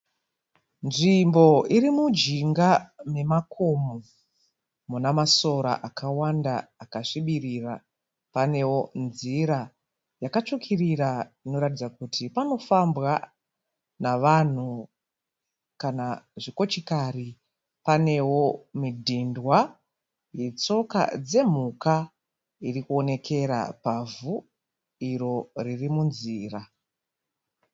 Nzvimbo iri munjinga memakomo muna masora akawanda akasvibirira. Panewo nzira yakatsvukirira inoratidza kuti panofambwa navanhu kana zvikochikari . Panewo midhindwa yetsoka dzemhuka iri kuonekera pavhu iro riri munzira.